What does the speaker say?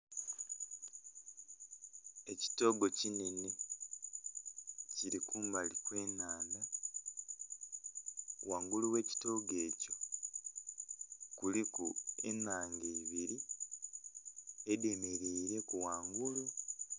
Ekitoogo kinhenhe kiri kumbali kw'ennhandha, ghangulu gh'ekitoogo ekyo kuliku ennhange ibiri edhemeleireku ghangulu.